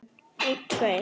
Maður hrífst af honum.